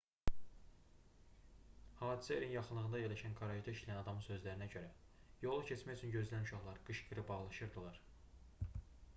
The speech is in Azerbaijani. hadisə yerinin yaxınlığında yerləşən qarajda işləyən adamın sözlərinə görə yolu keçmək üçün gözləyən uşaqlar qışqırıb ağlaşırdılar